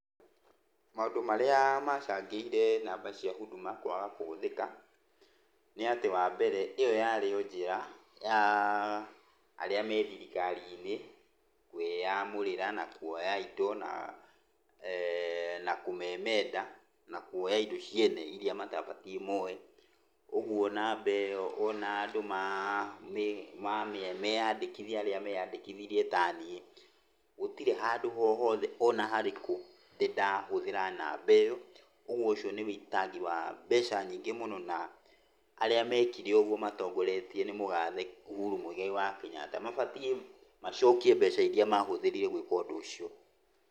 Maũndũ marĩa macangĩire namba cia Huduma kwaga kũhũthĩka, nĩ atĩ, wa mbere ĩyo rarĩ o njĩra ya arĩa me thirikari-inĩ kũĩyamũrĩra na kuoya indo, na na kũmemenda, na kuoya indo ciene iria matabatiĩ moye. Ũguo namba ĩyo ona andũ meyandĩkithia arĩa meyandĩkithirie taniĩ. Gũtirĩ handũ o hothe ona harĩkũ ndĩndahũthĩra namba ĩyo. Ũguo ũcio nĩ ũitangi wa mbeca nyingĩ mũno na arĩa mekire ũguo matongoretio nĩ mũgathe Uhuru Mũigai wa Kĩnyatta, mabatie macokie mbeca iria mahũthĩrire gũĩka ũndũ ũcio.